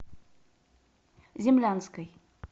землянской